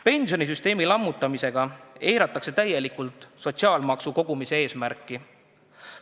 Pensionisüsteemi lammutamisega eiratakse täielikult sotsiaalmaksu kogumise eesmärki.